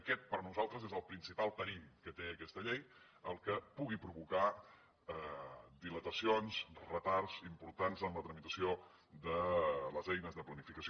aquest per nosaltres és el principal perill que té aquesta llei el que pugui provocar dilatacions retards importants en la tramitació de les eines de planificació